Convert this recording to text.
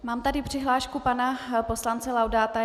Mám tady přihlášku pana poslance Laudáta.